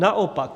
Naopak.